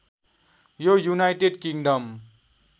यो United kingdom